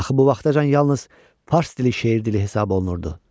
Axı bu vaxtacan yalnız fars dili şeir dili hesab olunurdu.